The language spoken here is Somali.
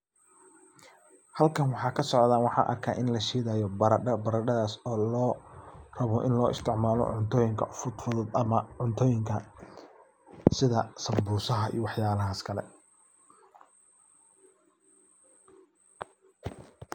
Halkan waxa kasocda ini barada lashidaya. Baradadas oo loo rabo ini lagu istic malo cuntoyinka fudfudhud ama cuntoyinka sidha sambusaha iyo wax yalahas kale.